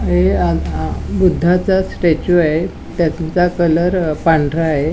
ह य आ ध बुध्दाचा स्टॅच्यू आहे. त्याचा कलर अ पांढरा आहे.